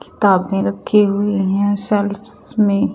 किताब भी रखी हुई हैं सेल्फ़्स में--